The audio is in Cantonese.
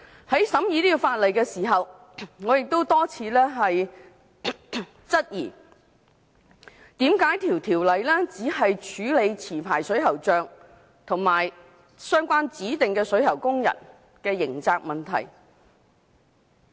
在審議《條例草案》的時候，我曾多次質疑為何《條例草案》只處理持牌水喉匠及相關指定水喉工人的刑責問題？